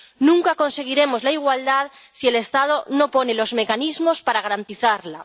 Nunca conseguiremos la igualdad si el Estado no pone los mecanismos para garantizarla.